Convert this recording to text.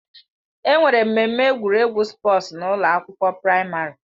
Enwere mmemme egwuregwu spọọs n'ụlọ akwụkwọ praịmarị.